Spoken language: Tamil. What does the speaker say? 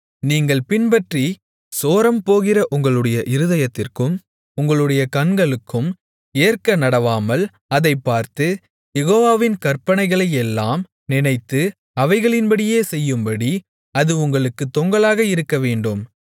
நீங்கள் பின்பற்றிச் சோரம்போகிற உங்களுடைய இருதயத்திற்கும் உங்களுடைய கண்களுக்கும் ஏற்க நடவாமல் அதைப் பார்த்து யெகோவாவின் கற்பனைகளையெல்லாம் நினைத்து அவைகளின்படியே செய்யும்படி அது உங்களுக்குத் தொங்கலாக இருக்கவேண்டும்